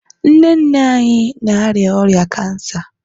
nne nne anyị na-arịa ọrịa kansa